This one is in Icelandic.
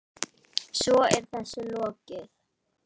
Svo er þessu lokið?